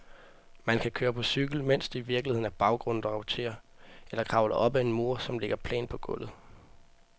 Man kan køre på cykel, mens det i virkeligheden er baggrunden, der roterer, eller kravle op ad en mur, som ligger plant på gulvet.